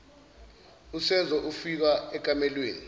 usenzo ufika ekamelweni